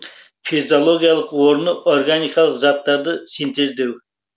физиологиялық орыны органикалық заттарды синтездеу